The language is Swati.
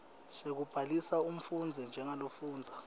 sekubhalisa umfundzi njengalofundza